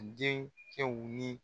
Den cɛw ni